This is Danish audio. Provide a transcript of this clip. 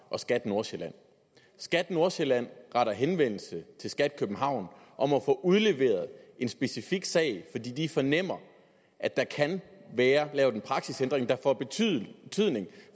og skat nordsjælland skat nordsjælland retter henvendelse til skat københavn om at få udleveret en specifik sag fordi de fornemmer at der kan være lavet en praksisændring der får betydning